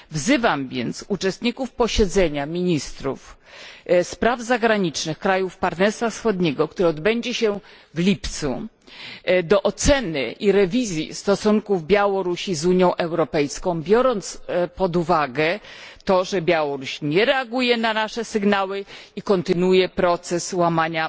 Wzywam więc uczestników posiedzenia ministrów spraw zagranicznych krajów Partnerstwa Wschodniego, które odbędzie się w lipcu, do oceny i rewizji stosunków Białorusi z Unią Europejską, biorąc pod uwagę to, że Białoruś nie reaguje nasze sygnały i nadal dopuszcza się łamania